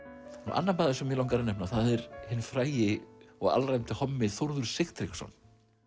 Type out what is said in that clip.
annar maður sem mig langar að nefna það er hinn frægi og alræmdi hommi Þórður Sigtryggsson